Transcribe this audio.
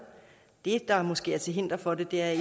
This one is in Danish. det der måske er til hinder for det er